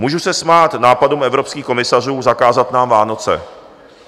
Můžu se smát nápadům evropských komisařů zakázat nám Vánoce.